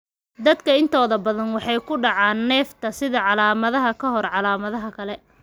Dadka intooda badan waxay ku dhacaan neefta sida calaamadaha ka hor calaamadaha kale.